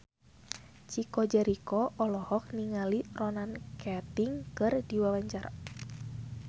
Chico Jericho olohok ningali Ronan Keating keur diwawancara